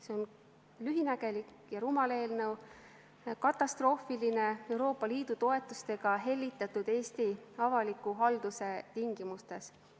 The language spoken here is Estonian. See on lühinägelik ja rumal eelnõu, katastroofiline Euroopa Liidu toetustega hellitatud Eesti avaliku halduse tingimustes.